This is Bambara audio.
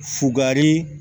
Fugari